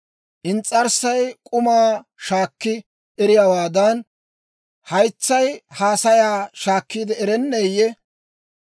Ins's'arssay k'umaa shaakki eriyaawaadan, haytsay haasayaa shaakkiide erenneeyye?